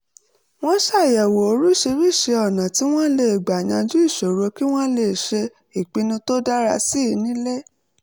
wọ́n ṣàyẹ̀wò oríṣiríṣi ọ̀nà tí wọ́n lè gbà yanjú ìṣòro kí wọ́n lè ṣe ìpinnu tó dára sí i nílé